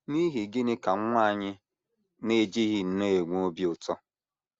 N’ihi gịnị ka nwa anyị na - ejighị nnọọ enwe obi ụtọ? ’